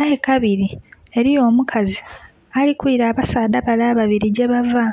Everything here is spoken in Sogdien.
Aye kabiri eliyo omukazi ali kwira abasaadha bale ababili gyebava.